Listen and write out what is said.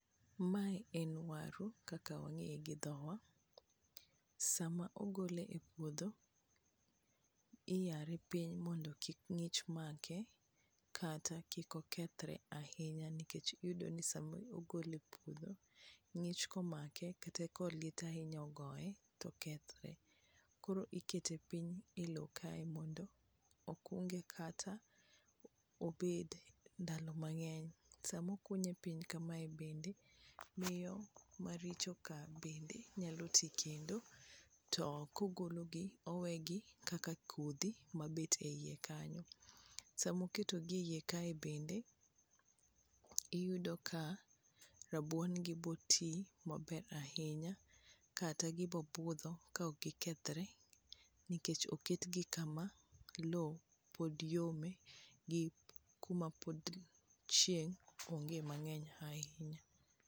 mae en waru kaka wang'eye gi dhowa, sama ogole e puodho iyare mondo kik ng'ich make kata kik okethre ahinya nikech iyudo ni sama ogole epuodho ng'ich komake kata ka liet ahinya ogoye to okthre, koro ikete piny e lo kae mondo okung'e kata obed ndalo mang'eny, sama okunye piny kama a bende n miyo maricho ka bende nyalo ti kendo ,to kogolo gi owegi kaka kodhi mabet e iye kanyo sama oketo gi e iye kae bende ,iyudo ka rabuon gi bo ti mabe ahinya kata gi bo budho ka ok gi kethre nikech oket gi kama lo pod yome gi kuma pod chieng ong'e mang'eny ahinya .